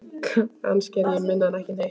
Kannski er ég minna en ekki neitt.